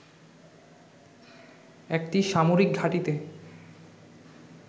একটি সামরিক ঘাটিতে